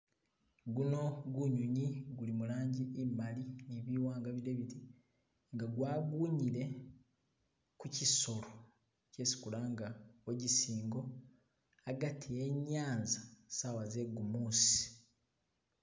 Guno gunyunyi guli mulangi imali ni biwanga bide biti nga gwagunyile kuchisolo chesi kulanga wogisingo hagati henyaza sawa zegumusi.